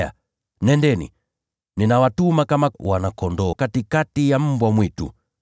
Haya! nendeni. Ninawatuma kama wana-kondoo katikati ya mbwa mwitu.